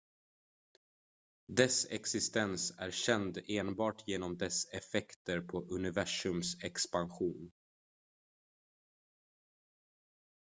dess existens är känd enbart genom dess effekter på universums expansion